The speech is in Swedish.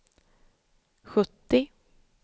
sjuttio